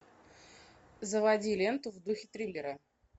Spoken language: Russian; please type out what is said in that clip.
заводи ленту в духе триллера